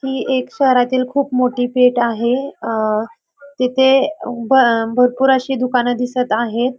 ही एक शहरातील खूप मोठी पेठ आहे अ तिथे अ भरपूर अशी दुकान दिसत आहे.